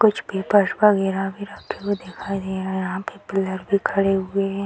कुछ पेपर्स वगैरा भी रखे हुए दिखाई दे रहा यहाँ पे पिलर भी खड़े हुए है --